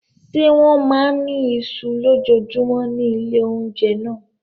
Ṣé wọ́n máa ń ní iṣu lójoojúmọ́ ní ilé-oúnjẹ náà?